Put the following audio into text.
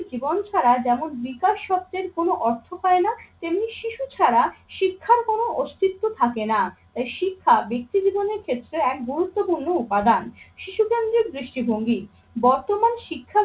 জীবন ছাড়া যেমন বিকাশ সত্যের কোনো অর্থ হয় না তেমনি শিশু ছাড়া শিক্ষার কোনো অস্তিত্ব থাকে না। তাই শিক্ষা ব্যক্তি জীবনের ক্ষেত্রে এক গুরুত্বপূর্ণ উপাদান। শিশু কেন্দ্রের দৃষ্টিভঙ্গি, বর্তমান শিক্ষা